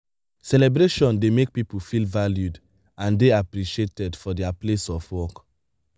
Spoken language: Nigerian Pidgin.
celebration dey make pipo feel valued and dey appreciated for their place of work